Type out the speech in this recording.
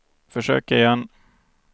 försök igen